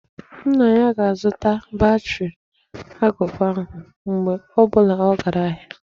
Nne ya ga-azụta batri agụba ahụ, mgbe ọ bụla ọ gara ahịa.